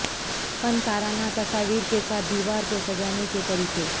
فنکارانہ تصاویر کے ساتھ دیوار کو سجانے کے طریقے